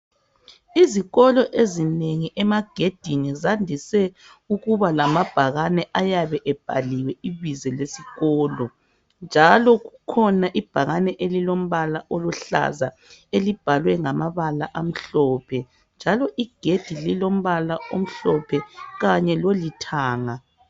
izikolo ezinengi emagedini zandise ukubalamabhakani ayabe ebhaliwe ibizo lesikolo njalo kukhona ibhakane elilombala oluhlaza elibhalwe ngamabala amhlophe njalo igedi lilombala omhlophe kanye lolithanga